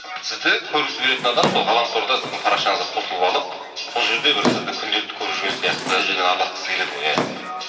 сізді көргісі келетін адам сол ғаламторда сіздің парақшаңызға қосылып алып сол жерде бір сізді күнделікті көріп жүрген сияқты сізбен араласқысы келеді ғой иә